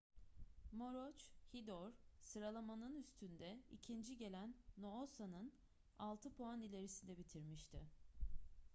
maroochydore sıralamanın üstünde ikinci gelen noosa'nın altı puan ilerisinde bitirmişti